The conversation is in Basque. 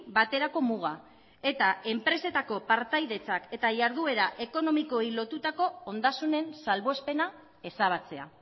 baterako muga eta enpresetako partaidetzak eta jarduera ekonomikoei lotutako ondasunen salbuespena ezabatzea